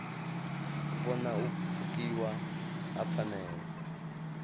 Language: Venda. vhona u pfukiwa ha pfanelo